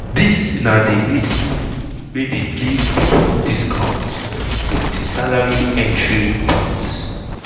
dis na di list wey dey give pipo discounts from di salary entry points.